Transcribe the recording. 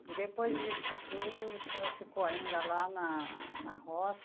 E depois disso tudo, o senhor ficou ainda lá na na roça?